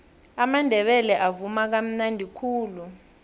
amandebele avuma kamnadi khulu